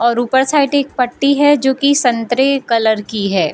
और ऊपर साइड एक पट्टी है जो की संतरे कलर की है ।